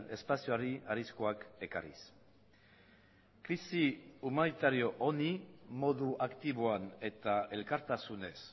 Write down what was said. espazioari arriskuak ekarriz krisi humanitario honi modu aktiboan eta elkartasunez